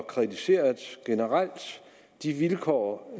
kritiseret de vilkår